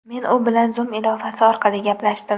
Men u bilan Zoom ilovasi orqali gaplashdim.